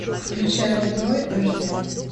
включай роб рой аш д